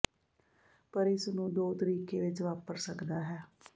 ਪਰ ਇਸ ਨੂੰ ਦੋ ਤਰੀਕੇ ਵਿੱਚ ਵਾਪਰ ਸਕਦਾ ਹੈ